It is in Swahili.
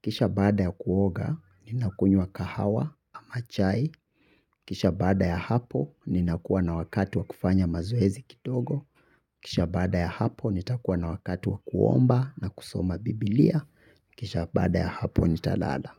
Kisha baada ya kuoga, ninakunywa kahawa, ama chai. Kisha baada ya hapo, ninakuwa na wakati wa kufanya mazoezi kidogo. Kisha baada ya hapo, nitakuwa na wakati wa kuomba na kusoma biblia. Kisha baada ya hapo, nitalala.